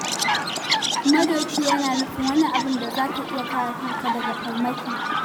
Madoki yana nufin wani abu da za ka iya kare kanka daga farmaki.